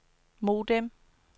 modem